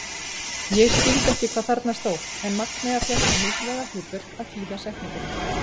Ég skildi ekki hvað þarna stóð en Magnea fékk það mikilvæga hlutverk að þýða setninguna.